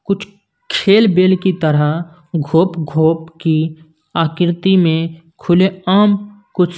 कुछ खेल बेल की तरह घोप घोप की आकृति में खुले आम कुछ--